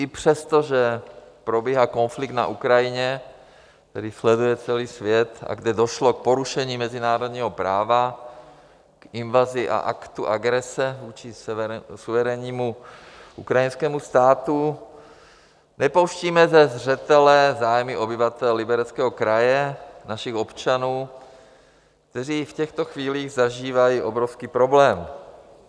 I přesto, že probíhá konflikt na Ukrajině, který sleduje celý svět a kde došlo k porušení mezinárodního práva, k invazi a aktu agrese vůči suverénnímu ukrajinskému státu, nepouštíme ze zřetele zájmy obyvatel Libereckého kraje, našich občanů, kteří v těchto chvílích zažívají obrovský problém.